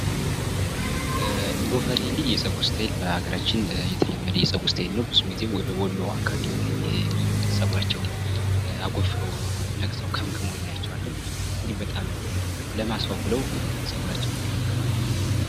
ጎፈሬ እንግዲህ የጸጉርስታይል በሀገራችን የተለመደ የጸጉር ስታይል ነው። ብዙውን ጊዜ ወደ ወሎ አካባቢ የሚገኝ ብዙ ጊዜ ጸጉራቸውን አጎፍረው ወይም ነቅሰው ከምክመው እናያቸዋለን። ይህ በጣም ለማስዋብ ብለው ጸጉራቸውን ይከመክማሉ።